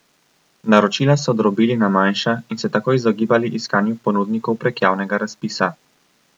Naročila so drobili na manjša in se tako izogibali iskanju ponudnikov prek javnega razpisa.